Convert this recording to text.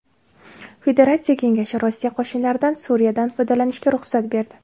Federatsiya Kengashi Rossiya qo‘shinlaridan Suriyada foydalanishga ruxsat berdi.